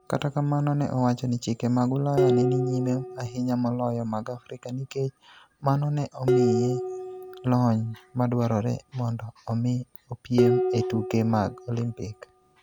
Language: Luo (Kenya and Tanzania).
Kata kamano, ne owacho ni chike mag Ulaya ne ni nyime ahinya moloyo mag Afrika nikech mano ne omiye lony madwarore mondo omi opiem e tuke mag Olimpik.